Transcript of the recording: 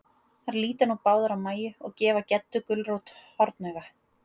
Þær líta nú báðar á Mæju, og gefa Geddu gulrót hornauga.